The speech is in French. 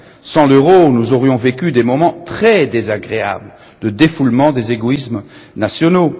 Sans l'euro, nous aurions vécu des moments très désagréables de défoulement des égoïsmes nationaux.